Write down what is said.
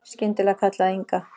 Skyndilega kallaði Inga